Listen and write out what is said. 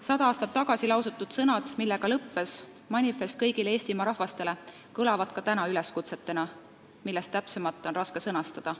Sada aastat tagasi lausutud sõnad, millega lõppes manifest kõigile Eestimaa rahvastele, kõlavad ka täna üleskutsetena, millest täpsemat on raske sõnastada.